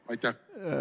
Aitäh!